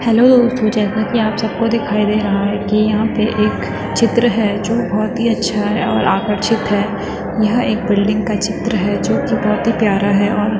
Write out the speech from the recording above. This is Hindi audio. हेलो जैसा की आप सब को दिखाई दे रहा है की यहाँ पे एक चित्र है। जो बहोत ही अच्छा है और आकर्षित है। यह एक बिल्डिंग का चित्र है। जो की बहोत ही प्यारा है।